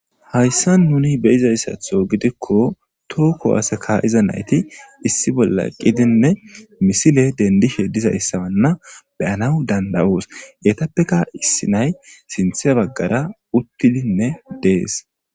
hayssa nuni beyizayssatho gidikko too kiwaseka iza nayti issi bolla qidinne misile dendishe dizayssawanna beyana danda'os etappeka issi nay sinthe baggara uttidinne dees